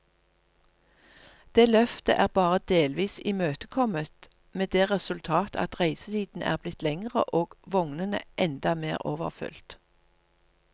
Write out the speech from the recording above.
Det løftet er bare delvis imøtekommet, med det resultat at reisetiden er blitt lengre og vognene enda mer overfylt.